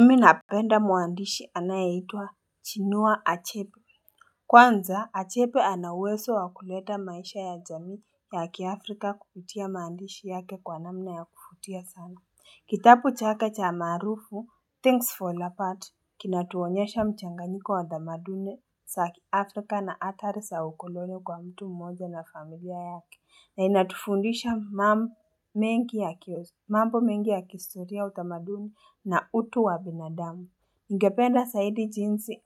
Mimi na penda muandishi anayeitwa chinua achepi kwanza achepe ana uweso wa kuleta maisha ya jamii ya kiafrika kupitia maandishi yake kwa namna ya kufutia sana Kitapu chake cha maarufu things fall apart Kinatuonyesha mchanganyiko wa damadune sa kiafrika na atari sa ukolone kwa mtu mmoja na familia yake na inatufundisha mambo mengi ya kistoria utamaduni na utu wa binadamu. Ningependa saidi jinsi